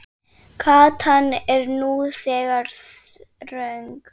Gatan er nú þegar þröng.